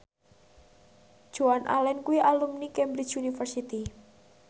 Joan Allen kuwi alumni Cambridge University